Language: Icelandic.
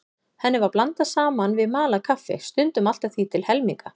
Henni var blandað saman við malað kaffi, stundum allt að því til helminga.